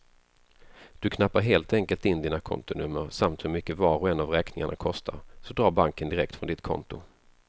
Du knappar helt enkelt in dina kontonummer samt hur mycket var och en av räkningarna kostar, så drar banken direkt från ditt konto.